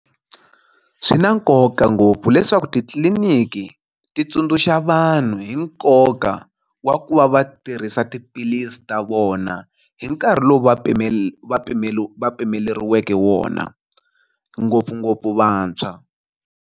Swi na nkoka ngopfu leswaku titliliniki ti tsundzuxa vanhu hi nkoka wa ku va va tirhisa tiphilisi ta vona hi nkarhi lowu va pimeleriweke wona ngopfungopfu vantshwa.